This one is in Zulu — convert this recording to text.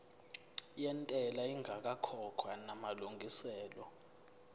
yentela ingakakhokhwa namalungiselo